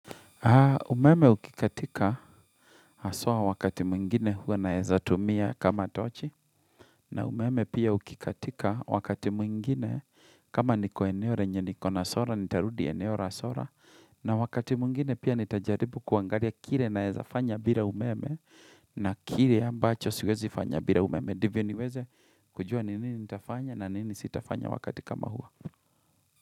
Ha umeme ukikatika haswa wakati mwingine huwa naeza tumia kama tochi na umeme pia ukikatika wakati mwingine kama niko ene ore yenye niko na sora nitarudi eneo ra sora na wakati mwingine pia nitajaribu kuangalia kire naeza fanya bila umeme na kire ambacho siwezi fanya bila umeme ndivyo niweze kujua nini nitafanya na nini sitafanya wakati kama huo.